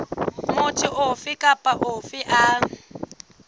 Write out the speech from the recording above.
motho ofe kapa ofe a